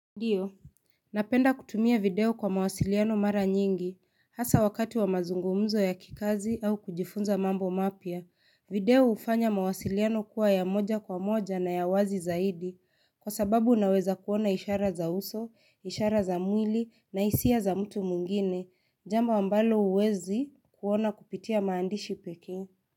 Ndio. Napenda kutumia video kwa mawasiliano mara nyingi. Hasa wakati wa mazungumzo ya kikazi au kujifunza mambo mapya. Video ufanya mawasiliano kuwa ya moja kwa moja na ya wazi zaidi. Kwa sababu unaweza kuona ishara za uso, ishara za mwili na hisia za mtu mwingine. Jambo ambalo huwezi kuona kupitia maandishi pekee.